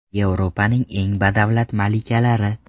Yevropaning eng badavlat malikalari .